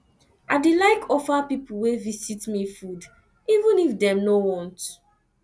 i dey like offer pipo wey visit me food even if dem no want